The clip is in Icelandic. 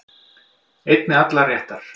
Einn með allar réttar